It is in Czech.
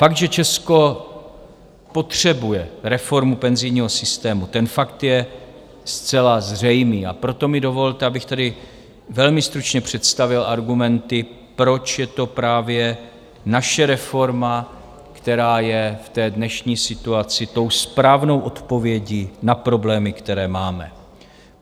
Fakt, že Česko potřebuje reformu penzijního systému, ten fakt je zcela zřejmý, a proto mi dovolte, abych tedy velmi stručně představil argumenty, proč je to právě naše reforma, která je v té dnešní situaci tou správnou odpovědí na problémy, které máme.